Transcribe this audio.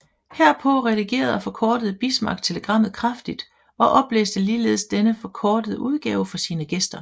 Herpå redigerede og forkortede Bismarck telegrammet kraftigt og oplæste ligeledes denne forkortede udgave for sine gæster